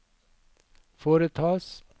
foretas